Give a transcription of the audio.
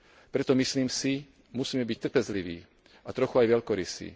Preto, myslím si, musíme byť trpezliví a trochu aj veľkorysí.